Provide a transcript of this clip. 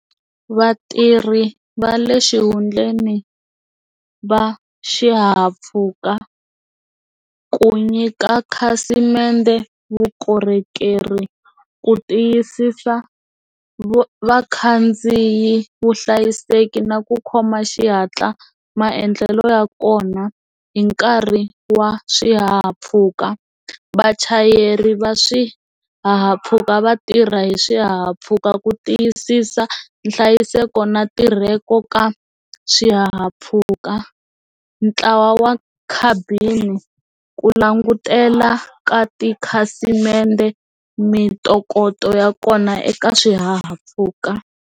Vatirhi va le xihundleni va xihahampfhuka ku nyika khasimende vukorhokeri ku tiyisisa vakhandziyi vuhlayiseki na ku khoma xihatla maendlelo ya kona hi nkarhi wa swihahampfhuka vachayeri va swihahampfhuka va tirha hi swihahampfhuka ku tiyisisa nhlayiseko na ntirhako ka swihahampfhuka ntlawa wa ku langutela ka tikhasimende mintokoto ya kona eka swihahampfhuka.